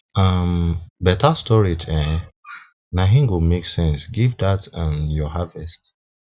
um beta storage um na im go make sense give dat um your harvest